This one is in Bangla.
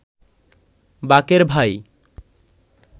বাকের ভাই